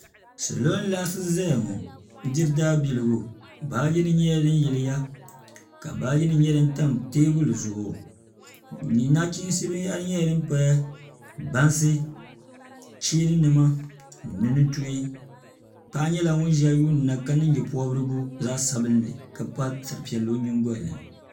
salo n laɣasi ʒɛya ŋo n diri daa biligu baaji nim nyɛla din yiliya ka baaji nim nyɛ din tan teebuli zuɣu nachiinsi binyahari nyɛla din paya bansi cheeni nima ni nintuhi paɣa nyɛla ŋun ʒɛya yuundi na ka niŋ nyɛ pobirigu zaɣ sabinli ka pa sari piɛlli o nyingoli ni